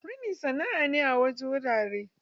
Rini sana'a ce a wasu wuraren.